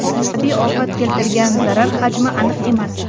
Tabiiy ofat keltirgan zarar hajmi aniq emas.